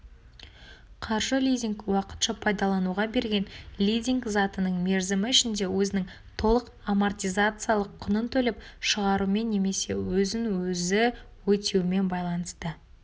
қаржы лизинг уақытша пайдалануға берген лизинг затының мерзімі ішінде өзінің толық амортизациялық құнын төлеп шығарумен немесе өзін-өзі өтеумен байланысты